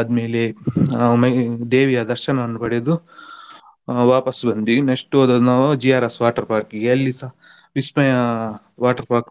ಆದ್ಮೇಲೆ ಆಮೇ~ ದೇವಿಯ ದರ್ಶನವನ್ನು ಪಡೆದು ವಾಪಸ್ ಬಂದ್ವಿ next ಹೋದದ್ದು ನಾವು GRS water park ಗೆ ಅಲ್ಲಿಸ vismaya water park